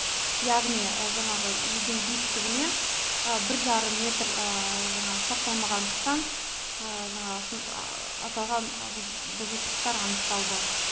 яғни жаңағы үйдің биіктігінен бір жарым метр жаңағы сақталмағандықтан жаңағы сол аталған бұзушылықтар анықталды